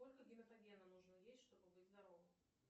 сколько гематогена нужно есть чтобы быть здоровым